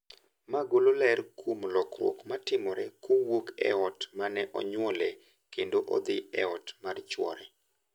Ma golo ler kuom lokruok matimore kowuok e ot ma ne onyuolee kendo odhi e ot mar chwore.